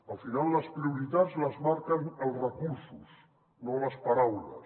al final les prioritats les marquen els recursos no les paraules